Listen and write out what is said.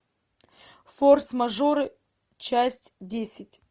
форс мажоры часть десять